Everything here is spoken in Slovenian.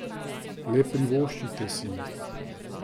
Le privoščite si jih.